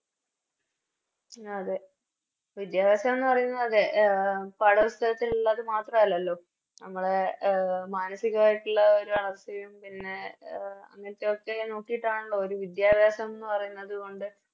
ഉം അതെ വിദ്യാഭ്യാസം ന്ന് പറയുന്നത് അതെ എ പാഠപുസ്തകത്തിലുള്ളത് മാത്രല്ലല്ലോ നമ്മളെ മനസികമായിട്ടുള്ള ഒരു വളർച്ചയും പിന്നെ എ അങ്ങനെത്തെ ഒക്കെ നോക്കിട്ടാണല്ലോ ഒരു വിദ്യാഭ്യാസംന്ന് പറയുന്നത് കൊണ്ട്